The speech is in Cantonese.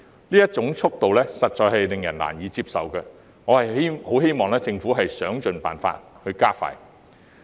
這種速度實在令人難以接受，我希望政府會設法加快。